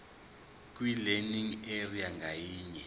kwilearning area ngayinye